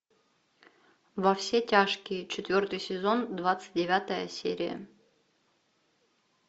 во все тяжкие четвертый сезон двадцать девятая серия